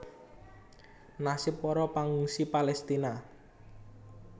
Nasib para pangungsi Palestina